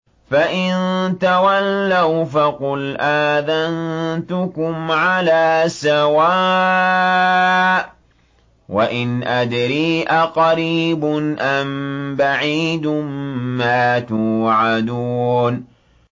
فَإِن تَوَلَّوْا فَقُلْ آذَنتُكُمْ عَلَىٰ سَوَاءٍ ۖ وَإِنْ أَدْرِي أَقَرِيبٌ أَم بَعِيدٌ مَّا تُوعَدُونَ